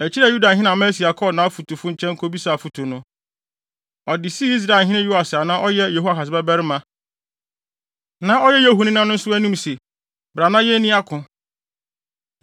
Akyiri a Yudahene Amasia kɔɔ nʼafotufo nkyɛn kobisaa afotu no, ɔde sii Israelhene Yoas a na ɔyɛ Yehoahas babarima, na ɔyɛ Yehu nena nso anim se, “Bra na yenni ako.”